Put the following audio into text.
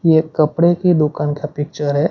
ये कपड़े की दुकान का पिक्चर है।